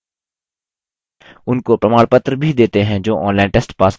उनको प्रमाणपत्र भी देते हैं जो online test pass करते हैं